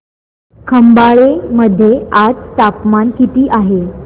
खंबाळे मध्ये आज तापमान किती आहे